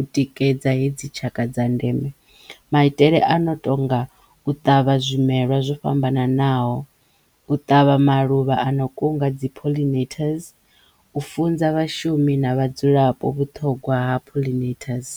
u tikedza hedzi tshaka dza ndeme maitele a no tonga u ṱavha zwimelwa zwo fhambananaho, u ṱavha maluvha a no kunga dzi pollinators, u funza vhashumi na vhadzulapo vhuṱhogwa ha pollinators.